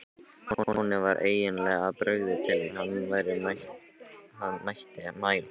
Honum var eiginlega of brugðið til að hann mætti mæla.